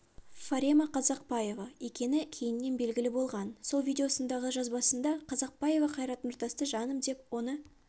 фарема қазақпаева екені кейіннен белгілі болған сол видеосындағы жазбасында қазақбаева қайрат нұртасты жаным деп оны